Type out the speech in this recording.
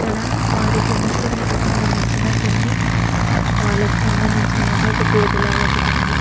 ఇక్కడ వారికి ముస్లింలకు సంబంధించిన కొన్ని వాళ్లకు సంబంధించిన అన్ని ఒక బోర్డు లాగా ఒకటుంది.